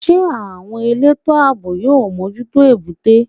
Ṣé àwọn elétò àbò yóò mójútó èbúté?